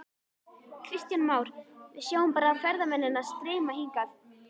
Kristján Már: Við sjáum bara ferðamennina streyma hingað?